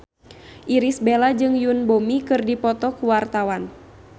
Irish Bella jeung Yoon Bomi keur dipoto ku wartawan